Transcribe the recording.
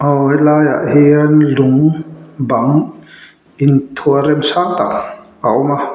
aw helaiah hian lung bang inthuah rem sang tak a awm a.